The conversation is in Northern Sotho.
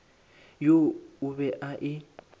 yeo o be a e